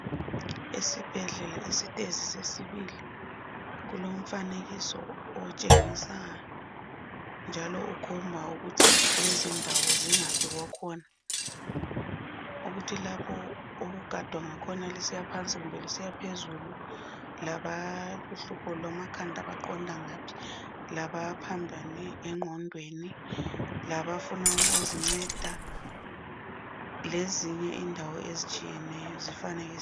Esibhedlela esitezi sesibili kulomfanekiso otshengisa njalo okhomba ukuthi lezindawo zingaphi kwakhona, ukuthi lapho okugadwa kusiywa phansi kumbe kusiywa phezulu, laboluhlupho lwamakhanda baqonda ngaphi, labaphambane ngqondweni labafuna ukuzinceda lezinye indawo ezitshiyeneyo zifanekisiwe.